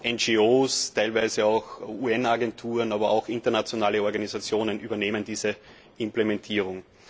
NGOs, teilweise auch UN Agenturen, aber auch internationale Organisationen übernehmen diese Implementierung.